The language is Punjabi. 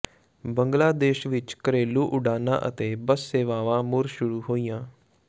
ਬੰਗਲਾਦੇਸ਼ ਵਿੱਚ ਘਰੇਲੂ ਉਡਾਣਾਂ ਅਤੇ ਬੱਸ ਸੇਵਾਵਾਂ ਮੁੜ ਸ਼ੁਰੂ ਹੋਈਆਂ